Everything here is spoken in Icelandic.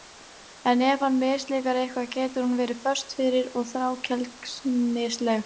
En ef henni mislíkar eitthvað getur hún verið föst fyrir og þrákelknisleg.